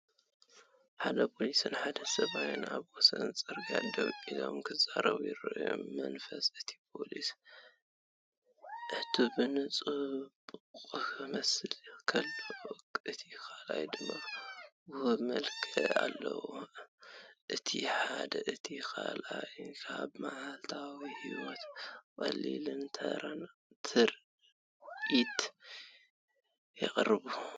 ሓደ ፖሊስን ሓደ ሰብኣይን ኣብ ወሰን ጽርግያ ደው ኢሎም ክዛረቡ ይረኣዩ። መንፈስ እቲ ፖሊስ ዕቱብን ጽዑቕን ክመስል ከሎ፡ እቲ ካልእ ድማ ውሁድ መልክዕ ኣለዎ። እቲ ሓደን እቲ ካልኣይን ኣብ መዓልታዊ ህይወት ቀሊልን ተራን ትርኢት የቕርቡ።